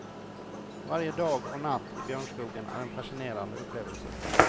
Varje dag och natt i björnskogen är en fascinerande upplevelse.